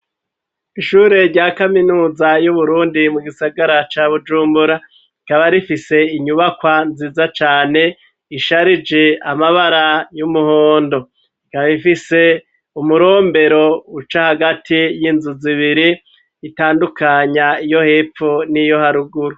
Ishure rya kaminuza y'uburundi mu gisagara ca bujumbura rikaba rifise inyubakwa nziza cane isharije amabara y'umuhondo rikaba ifise umurombero uca hagati y'inzu zibiri utandukanya iyo hepfu n'iyo haruguru.